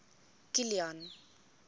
kilian